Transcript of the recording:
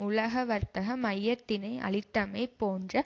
உலக வர்த்தக மையத்தினை அழித்தமை போன்ற